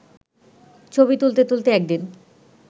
ছবি তুলতে তুলতে একদিন